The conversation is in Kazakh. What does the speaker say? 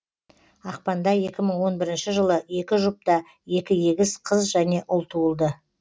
ақпанда екі мың он бірінші жылы екі жұпта екі егіз қыз және ұл туылды